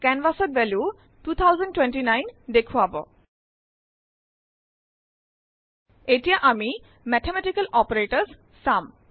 Canvas ত value 2029 দেখুৱাব । এতিয়া আমি মেথমেটিকেল অপাৰেটৰ্ছ চাম